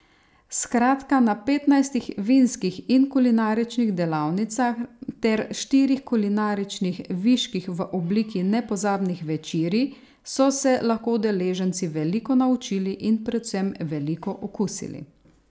Skratka na petnajstih vinskih in kulinaričnih delavnicah ter štirih kulinaričnih viških v obliki nepozabnih večerij so se lahko udeleženci veliko naučili in predvsem veliko okusili.